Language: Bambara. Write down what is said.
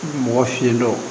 Mɔgɔ fiɲɛ dɔ